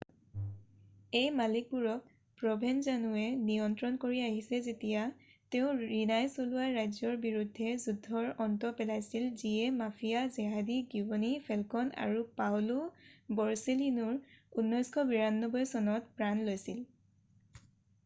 এই মালিকবোৰক প্ৰভেনজানোৱে নিয়ন্ত্ৰণ কৰি আহিছে যেতিয়া তেওঁ ৰিনাই চলোৱা ৰাজ্যৰ বিৰুদ্ধে যুদ্ধৰ অন্ত পেলাইছিল যিয়ে মাফিয়া জেহাদী গীৱনী ফেলকণ আৰু পাওঁলো বৰচেলিনোৰ 1992 চনত প্ৰাণ লৈছিল